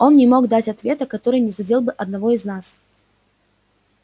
он не мог дать ответа который не задел бы одного из нас